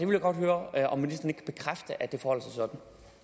vil godt høre om